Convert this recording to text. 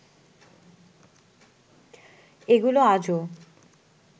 এগুলো আজও